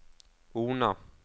Ona